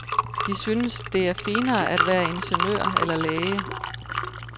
De synes, det er finere at være ingeniør eller læge.